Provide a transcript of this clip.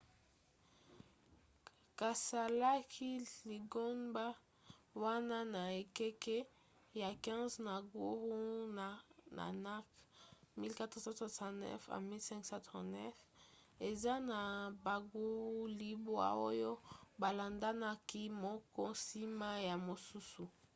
basalaki lingomba wana na ekeke ya 15 na guru nanak 1469–1539. eza na baguru libwa oyo balandanaki moko nsima ya mosusu